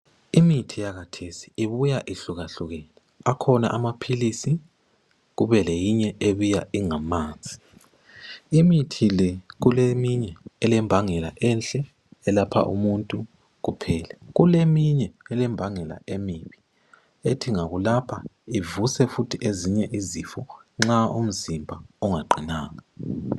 Imithi yakhathesi ibuya ihlukahlukene. Akhona amaphilisi. Kube le minye ebuya ingamanzi. Imithi le kuleminye elembangela enhle elapha umuntu kuphela. Kuleminye elembangela emibi. Ethi ingakulapha ivuse futhi ezinye izifo nxa umzimba ungaqinanga.